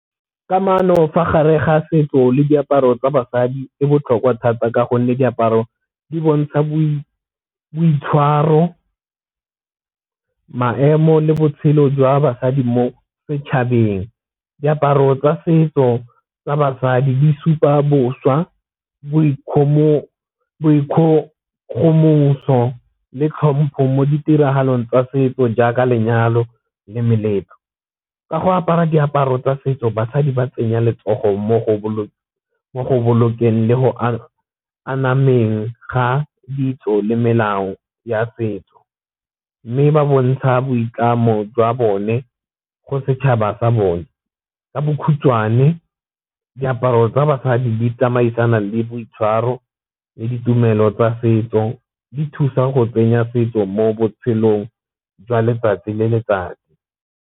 Kamano fa gare ga setso le diaparo tsa basadi e botlhokwa thata ka gonne diaparo di bontsha boitshwaro, maemo le botshelo jwa basadi mo setšhabeng. Diaparo tsa setso tsa basadi di supa boswa boikgogomoso le tlhompho mo ditiragalong tsa setso jaaka lenyalo le meletlo. Ka go apara diaparo tsa setso basadi ba tsenya letsogo mo go bolokeng le go anameng ga ditso le melao ya setso, mme ba bontsha boitlamo jwa bone go setšhaba sa bone. Ka bokhutshwane diaparo tsa basadi di tsamaisana le boitshwaro le ditumelo tsa setso, di thusa go tsenya setso mo botshelong jwa letsatsi le letsatsi.